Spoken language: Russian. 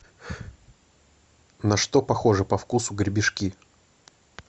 на что похожи по вкусу гребешки